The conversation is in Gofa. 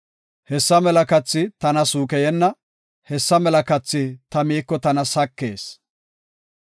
Hessa mela kathi tana suukeyenna; hessa mela kathi ta miiko tana sakees.